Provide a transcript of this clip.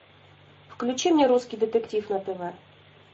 включи мне русский детектив на тв